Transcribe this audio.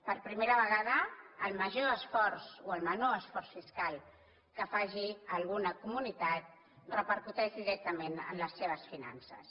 per primera vegada el major esforç o el menor esforç fiscal que faci alguna comunitat repercuteix directament en les seves finances